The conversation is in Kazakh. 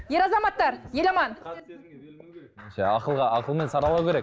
ер азаматтар еламан ақылға ақылмен саралау керек